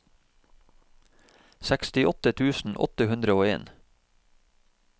sekstiåtte tusen åtte hundre og en